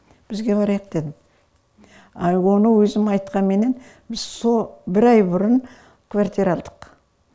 бізге барайық дедім ал оны өзім айтқанменен сол бір ай бұрын квартира алдық